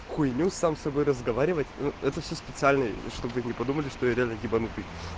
хуйню сам с собой разговаривать это все специально чтобы не подумали что типа ебанутый